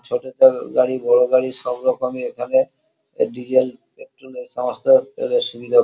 ছোটো তেল গাড়ি বড় গাড়ি সব রকমই এখানে ডিজেল পেট্রোল -এ সমস্ত তেলের সুবিধা ।